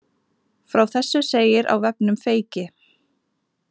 Frá þessu segir á vefnum Feyki